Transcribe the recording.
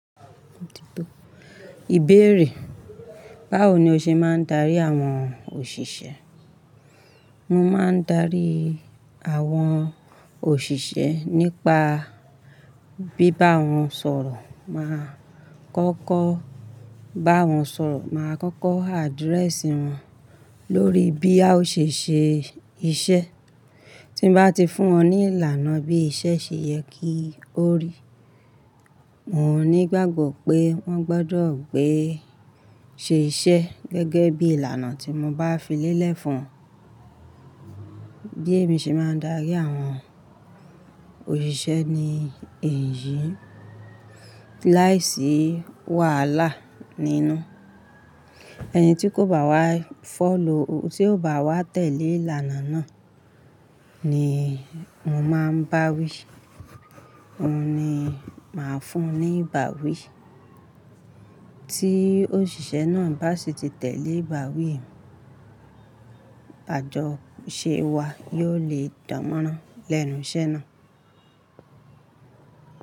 Ìbéèrè, báwo ni o ṣe máa ń darí àwọn òṣìṣẹ́? Mọ máa ń darí àwọn òṣìṣẹ́ nípa bí bá wọn sọ̀rọ̀, màá kọ́kọ́ bá wọn sọ̀rọ̀, màá kọ́kọ́ address wọn lórí bí a ò ṣe ṣe iṣẹ́. Tí n bá ti fún wọn ní ìlànà bí iṣẹ́ ṣe yẹ kí ó rí, mò ní gbàgbọ́ pé wọ́n gbọdọ̀ gbé ṣe iṣẹ́ gẹ́gẹ́ bí ìlànà tí mo bá fi lélẹ̀ fún wọn. Bí èmi ṣe máa ń darí àwọn òṣìṣẹ́ ni èyí, láìsí wàhálà nínú. Ẹni tí kò bá wá follow, tí ò bá wá tẹ̀lé ìlànà náà, ni mo máa ń báwí, òun ni màá fún un ní ìbáwí. Tí òṣìṣẹ́ náà bá sì ti tẹ̀lé ìbáwí, àjọṣe wa yóò le dànmọ́rán lẹ́nu iṣẹ́ náà.